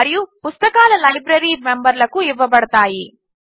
మరియు పుస్తకాలు లైబ్రరీ మెంబర్లకు ఇవ్వబడతాయి